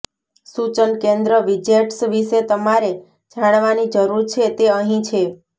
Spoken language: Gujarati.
સૂચન કેન્દ્ર વિજેટ્સ વિશે તમારે જાણવાની જરૂર છે તે અહીં છે